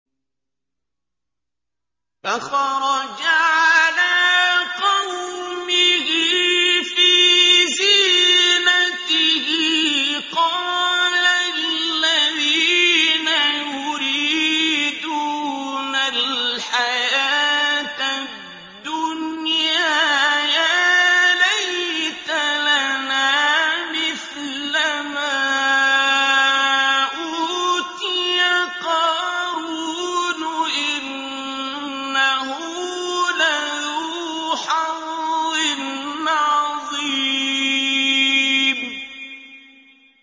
فَخَرَجَ عَلَىٰ قَوْمِهِ فِي زِينَتِهِ ۖ قَالَ الَّذِينَ يُرِيدُونَ الْحَيَاةَ الدُّنْيَا يَا لَيْتَ لَنَا مِثْلَ مَا أُوتِيَ قَارُونُ إِنَّهُ لَذُو حَظٍّ عَظِيمٍ